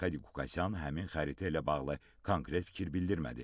Arkadi Qukasyan həmin xəritə ilə bağlı konkret fikir bildirmədi.